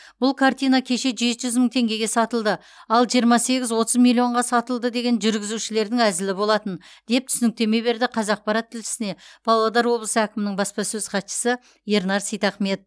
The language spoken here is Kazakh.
бұл картина кеше жеті жүз мың теңгеге сатылды ал жиырма сегіз отыз миллионға сатылды деген жүргізушілердің әзілі болатын деп түсініктеме берді қазақпарат тілшісіне павлодар облысы әкімінің баспасөз хатшысы ернар сейтахмет